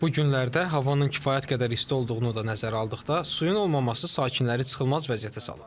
Bu günlərdə havanın kifayət qədər isti olduğunu da nəzərə aldıqda, suyun olmaması sakinləri çıxılmaz vəziyyətə salıb.